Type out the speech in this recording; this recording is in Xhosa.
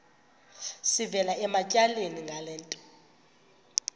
sivela ematyaleni ngento